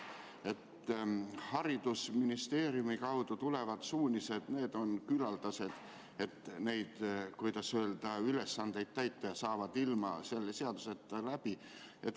Haridusministeeriumi kaudu tulevad suunised on küllaldased, et neid, kuidas öelda, ülesandeid täita, ja nad saavad ilma selle seaduseta läbi.